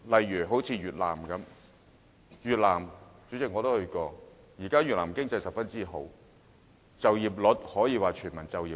以越南為例，主席，我曾到訪越南，如今越南的經濟非常好，就業方面，可說是全民就業。